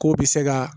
K'o bi se ka